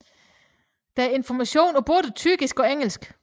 Der er information på både tyrkisk og engelsk